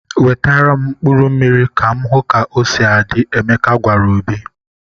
"Wetara m mkpụrụ mmiri ka m hụ ka o si adị!" Emeka gwara Obi.